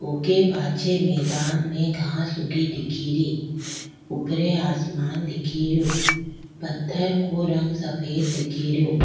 ऊके पाछे मैदान में घास उगी दिखेरी ऊपरे आसमान दिखेरो पत्थर को रंग सफ़ेद दिखेरो।